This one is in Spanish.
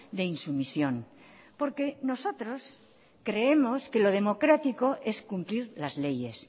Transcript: de insumisión porque nosotros creemos que lo democrático es cumplir las leyes